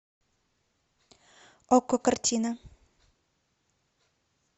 окко картина